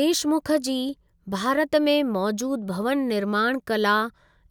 देशमुख जी भारत में मौजूदु भवन निर्माण कला